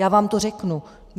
Já vám to řeknu.